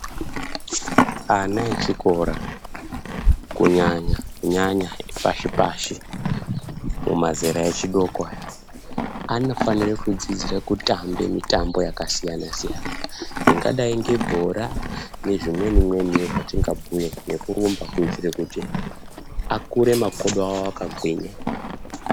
Ana echikora kunyanya-nyanya epashi-pashi, mumazera echidoko aya, anofanire kudzidzira kutamba mitambo yakasiyana-siyana, ingadayi ngebhora, nezvimweni-mweniwo zvatingabhuya nekurumba kuyitire kuti akure makodo awo akagwinya.